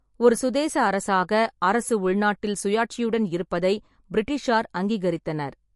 ஒரு சுதேச அரசாக, அரசு உள்நாட்டில் சுயாட்சியுடன் இருப்பதை பிரிட்டிஷார் அங்கீகரித்தனர்.